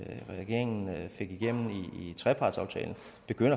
regeringen fik igennem i trepartsaftalen